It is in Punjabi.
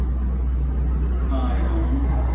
ਹਾਂਜੀ ਹਾਂ ਉਹਨੂੰ ਕਹਿੰਦੇ ਨੇ